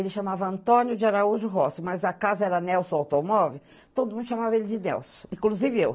Ele chamava Antônio de Araújo Rossi, mas a casa era Nelson Automóvel, todo mundo chamava ele de Nelson, inclusive eu.